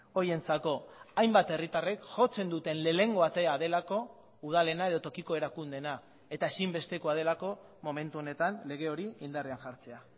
horientzako hainbat herritarrek jotzen duten lehenengo atea delako udalena edo tokiko erakundeena eta ezinbestekoa delako momentu honetan lege hori indarrean jartzea